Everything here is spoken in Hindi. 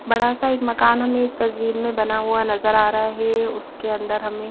बड़ा सा एक मकान हमें इस तस्वीर में बना हुआ नजर आ रहा है उसके अंदर हम--